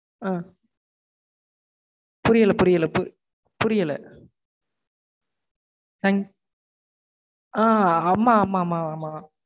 அஹ் புரியல புரியல புரியலஅங்~ அஹ் அம்மா ஆமா ஆமா ஆமா